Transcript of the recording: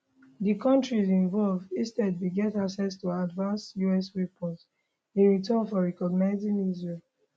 di kontris involved instead bin get access to advanced us weapons in return for recognising israel